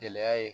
Gɛlɛya ye